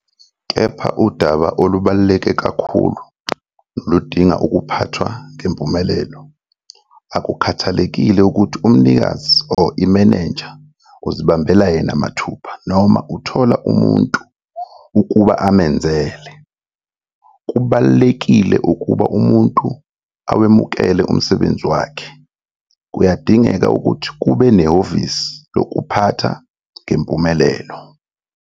Kepha, udaba olubaluleke kakhulu noludinga ukuphathwa ngempumelelo. Akukhathalekile ukuthi umnikazi or imenenja uzibambela yena mathupha noma uthola umuntu ukuba amenzele - kubalulekile ukuba umuntu awemukele umsebenzi wakhe. Kuyadingeka ukuthi kube nehhovisi lokuphatha ngempumelelo.